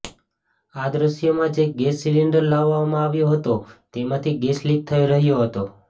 આ દૃશ્યમાં જે ગેસ સિલિન્ડર લાવવામાં આવ્યો હતો તેમાંથી ગેસ લીક થઇ રહયો હતો